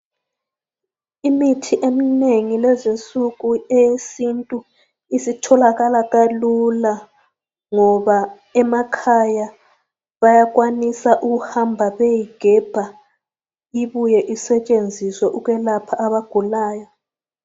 Imithi eminengi kulezinsuku eyesintu isitholakala kalula ngoba emakhaya bayakwanisa ukuhamba beyeyigebha ibuye isetshenziswe ukwelapha abagulayo.